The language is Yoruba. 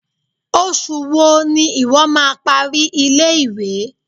Oṣù wo ni ìwo má a parí ilé-ìwé?